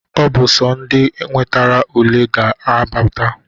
Ọ bụ sọ ndị nwetara ule ha ga-abata.